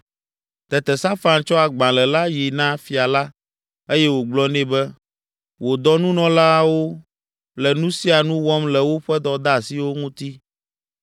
Tete Safan tsɔ agbalẽ la yi na fia la eye wògblɔ nɛ be, “Wò dɔnunɔlawo le nu sia nu wɔm le woƒe dɔdeasiwo ŋuti.